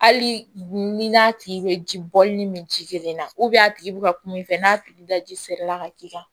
Hali ni n'a tigi bɛ ji bɔli ni min min ji kelen na a tigi bɛ ka kum'i fɛ n'a tigi daji fɛrɛ la ka k'i kan